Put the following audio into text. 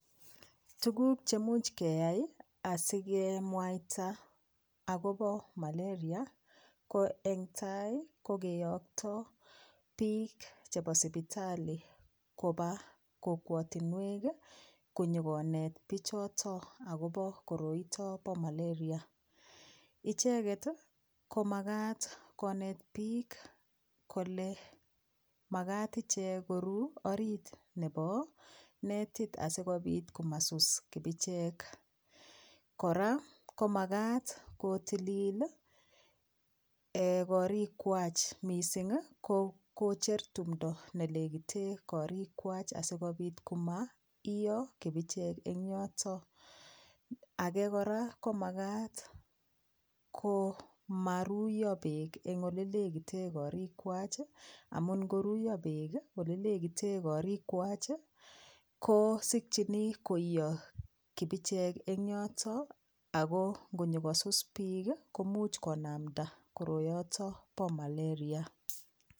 Tukuk che much keyai asikemwaita akobo malaria ko eng tai ko keyokto piik chebo sipitali koba kokwotinwek ii, konyokonet pichoto akobo koroito bo malaria, icheket ii ko makat konet piik kole makat ichek koru orit nebo netit asikobit komasus kibicheek, kora komakat kotilil ii um korikwach mising ii ko kocher tumdo ne lekite korikwach asikobit komaio kibichek eng yoto, ake kora komakat komaruiyo beek eng ole lekite korikwach ii, amun ngoruiyo beek ii olelekite korikwach ii ko sikchini koio kibichek eng yoto ako ngonyokosus piik ii komuch konamda koroyoto bo malaria.